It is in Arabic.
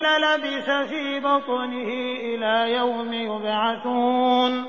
لَلَبِثَ فِي بَطْنِهِ إِلَىٰ يَوْمِ يُبْعَثُونَ